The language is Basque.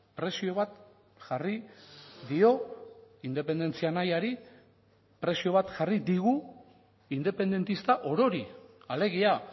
prezio bat jarri dio independentzia nahiari prezio bat jarri digu independentista orori alegia